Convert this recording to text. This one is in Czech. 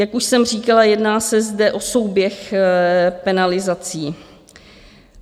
Jak už jsem říkala, jedná se zde o souběh penalizací.